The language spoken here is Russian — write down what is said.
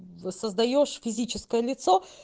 восоздаешь физическое лицо